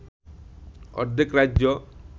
অর্ধেক রাজ্য